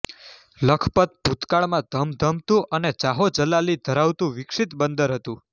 લખપત ભૂતકાળમાં ધમધમતું અને જાહોજલાલી ધરાવતું વિકસીત બંદર હતું